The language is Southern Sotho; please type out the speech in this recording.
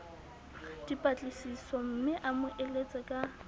dipatlisisomme a mo eletse ka